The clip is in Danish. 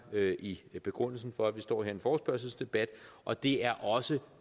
i begrundelsen for at vi står her i en forespørgselsdebat og det er også